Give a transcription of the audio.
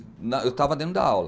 Eu estava dentro da aula.